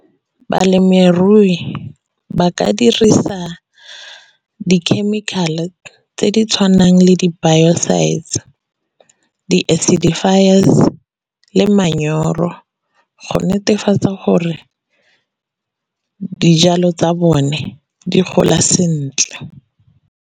Balemirui ba ka dirisa di-chemical-e tse di tshwanang le di-biocides, di-acidifiers, le manyoro go netefatsa gore dijalo tsa bone di gola sentle.